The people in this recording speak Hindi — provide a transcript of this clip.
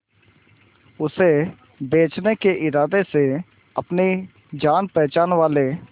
उसे बचने के इरादे से अपने जान पहचान वाले